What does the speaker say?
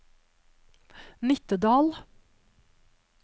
Nittedal